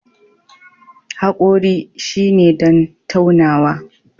Haƙori shine don taunawa